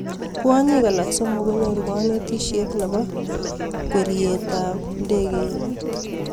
Kwonyik alak somok konyoruu kanetisiet nepoo kweriet ap ndakeinik